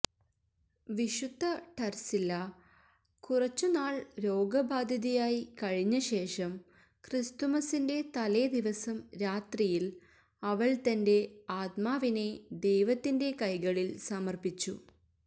വിശുദ്ധ ടർസില്ല കുറച്ചുനാൾ രോഗബാധിതയായി കഴിഞ്ഞശേഷം ക്രിസ്തുമസിന്റെ തലേദിവസം രാത്രിയിൽ അവൾ തന്റെ ആത്മാവിനെ ദൈവത്തിന്റെ കൈകളിൽ സമർപ്പിച്ചു